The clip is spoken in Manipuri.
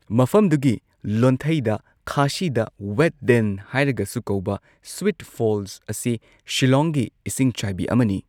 ꯃꯐꯝꯗꯨꯒꯤ ꯂꯣꯟꯊꯩꯗ ꯈꯥꯁꯤꯗ ꯋꯦꯠꯗꯦꯟ ꯍꯥꯏꯔꯒꯁꯨ ꯀꯧꯕ ꯁ꯭ꯋꯤꯠ ꯐꯣꯜꯁ ꯑꯁꯤ ꯁꯤꯂꯣꯡꯒꯤ ꯏꯁꯤꯡꯆꯥꯏꯕꯤ ꯑꯃꯅꯤ꯫